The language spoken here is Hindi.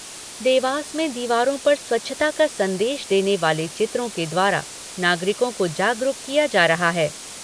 देवास में दीवारों पर स्वच्छता का संदेश देने वाले चित्रों के द्वारा नागरिकों को जागरूक किया जा रहा है।